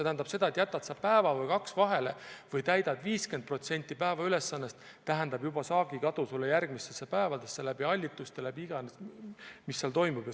Kui sa jätad päeva või kaks vahele või täidad 50% päevaülesandest, siis see tähendab saagi kadu järgmistel päevadel, hallituse ja mille iganes tõttu, mis seal toimub.